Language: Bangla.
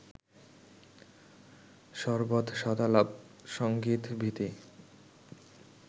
সরবৎ সদালাপ সংগীত-ভীতি